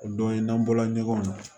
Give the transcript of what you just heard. O don ye n'an bɔla ɲɔgɔn na